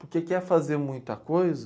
Porque quer fazer muita coisa...